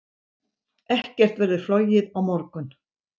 Ekkert verður flogið á morgun.